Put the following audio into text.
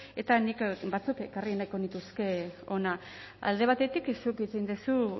eta nik batzuk ekarri nahiko nituzke hona alde batetik zuk hitz egin duzu